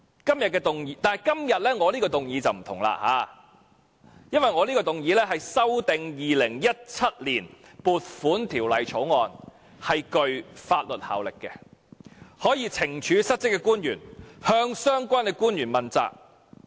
但是，我今天的修正案則不同，因為我的修正案是修訂《2017年撥款條例草案》，且具法律效力，可以懲處失職的官員，向相關官員問責。